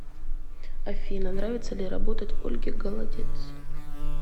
афина нравится ли работать ольге голодец